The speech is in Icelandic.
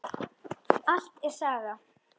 Allt er saga.